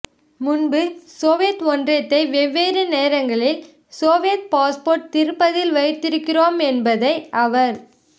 முன்பு சோவியத் ஒன்றியத்தை வெவ்வேறு நேரங்களில் சோவியத் பாஸ்போர்ட் திருப்பத்தில் வைத்திருக்கிறோம் என்பதை அவர்